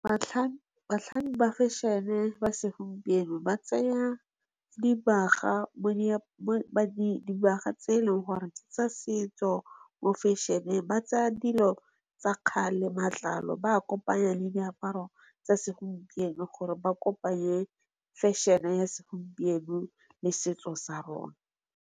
Batlhami ba fešhene ba se gompieno ba tsaya dibaga tse e leng gore tsa setso mo fešheneng, ba tsaya dilo tsa kgale matlalo ba kopanya le diaparo tsa se gompieno gore ba kopanya le fešhene ya se gompieno le setso sa rona.